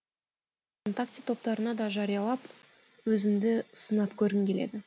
вконтакте топтарына да жариялап өзімді сынап көргім келеді